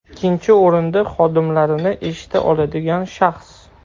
Ikkinchi o‘rinda, xodimlarini eshita oladigan shaxs.